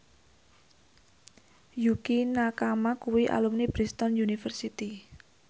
Yukie Nakama kuwi alumni Bristol university